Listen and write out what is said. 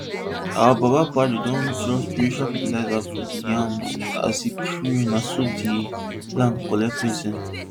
our baba padre don drop spiritual fertilizer for di yams as e pray na so di land collect blessing